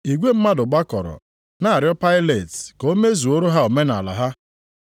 Igwe mmadụ gbakọrọ na-arịọ Pailet ka o mezuoro ha omenaala ha.